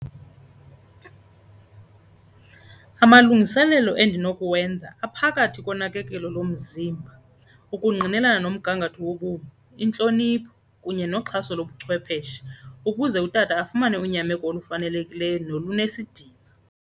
Amalungiselelo endinokuwenza aphakathi konakelo lomzimba, ukungqinelana nomgangatho wobomi, intlonipho kunye noxhaso lobuchwepeshe ukuze utata afumane unyameko olufanelekileyo noluesidima.